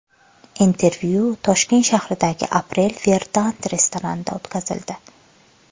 Intervyu Toshkent shahridagi April Verdant restoranida o‘tkazildi.